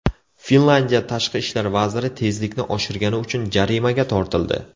Finlyandiya tashqi ishlar vaziri tezlikni oshirgani uchun jarimaga tortildi.